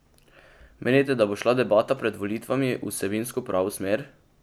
Menite, da bo šla debata pred volitvami v vsebinsko pravo smer?